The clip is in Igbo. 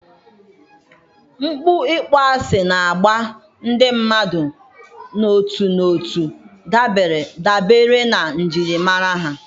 mpụ ịkpọasị na-agba ndị mmadụ n'otu n'otu dabere na njirimara ha.